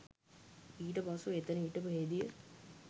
ඊට පසුව එතන හිටපු හෙදිය